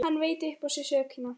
Hann veit upp á sig sökina.